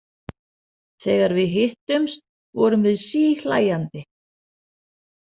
Þegar við hittumst vorum við síhlæjandi.